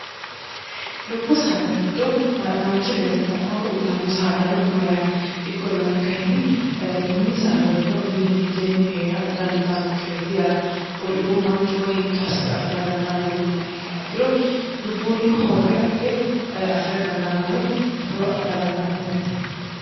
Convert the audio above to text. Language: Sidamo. dubbu saada giddo manchi beettira horo uyitanno saadano no yaate ikkollana kahinni mini saada ledo mine mitteenni hee'ra danditanno kireeti yaate kuriuu manchuwa hiitto hasse afira dandaano yiniha ikka ikkiro dubbuunni horre abbe afi'ra dandaanno woye horo adha dandaanno yaate